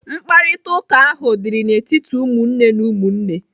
Mkparịtaụka ahụ dịrị n'etiti ụmụnne na ụmụnne.